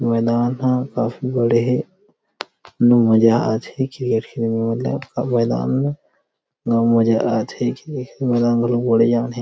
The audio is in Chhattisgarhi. मैदान ह काफी बड़े हे उम्म मजा आथे नांव मजा आथे बड़े जान मैदान हे।